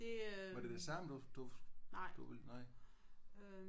Var det det samme du du du ville? Nej